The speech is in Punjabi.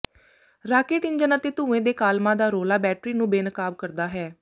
ਰਾਕੇਟ ਇੰਜਣ ਅਤੇ ਧੂੰਏ ਦੇ ਕਾਲਮਾਂ ਦਾ ਰੌਲਾ ਬੈਟਰੀ ਨੂੰ ਬੇਨਕਾਬ ਕਰਦਾ ਹੈ